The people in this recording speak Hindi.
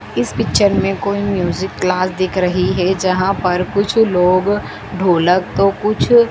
इस पिक्चर में कोई म्यूजिक क्लास दिख रही है जहां पर कुछ लोग ढोलक तो कुछ--